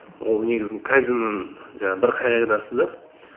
ол негізі кайдзеннің жаңағы бір қағидасы да